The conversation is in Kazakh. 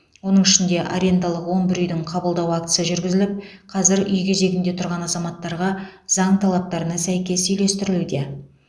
оның ішінде арендалық он бір үйдің қабылдау актісі жүргізіліп қазір үй кезегінде тұрған азаматтарға заң талаптарына сәйкес үйлестірілуде